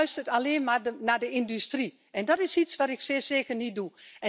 U luistert alleen maar naar de industrie en dat is iets wat ik zeer zeker niet doe.